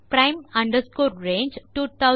prime range2009 2901 3